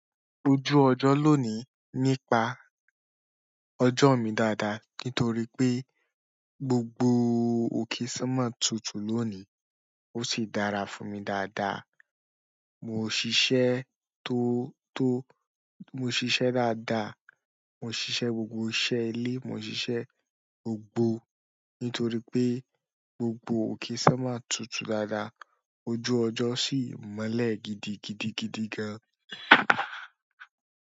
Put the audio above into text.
Ojú ọjọ́ lónìí nípa ọjọ́ mi dáadáa nítorí pé gbogbo òkésà mọ̀ tútù lónìí ó sì dára fún mi dáadáa. Mo ṣiṣẹ to to mo ṣiṣẹ dáadáa mo ṣiṣẹ gbogbo iṣẹ́ ilé mo ṣiṣẹ́ gbogbo nítorí pé gbogbo okesomo tútù dáadáa ojú ọjọ sì mọ́lẹ̀ gidigidi gidi gan.